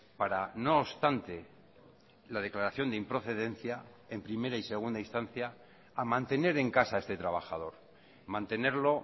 para no obstante la declaración de improcedencia en primera y segunda instancia a mantener en casa a este trabajador mantenerlo